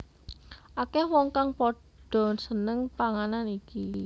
Akeh wong kang padha seneng panganan iki